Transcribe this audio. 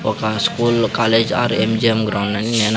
ఒక school college or M G M ground అన్ని నేన్ --